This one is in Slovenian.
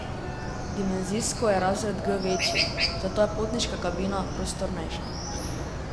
Dimenzijsko je razred G večji, zato je potniška kabina prostornejša.